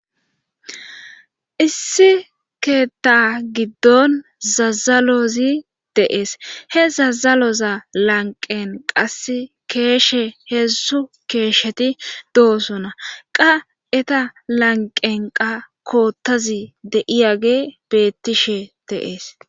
issi keetta giddon zazalozi deees he zazaloza lanqen qas keeshe heessu keesheti doosona qa eta lanqenqa koottazi de7iyage bettishe deees